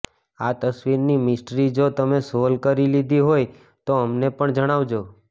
આ તસવીરની મિસ્ટ્રી જો તમે સોલ્વ કરી લીધી હોય તો અમને પણ જણાવજો